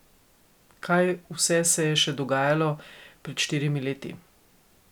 Kaj vse se je še dogajalo pred štirimi leti?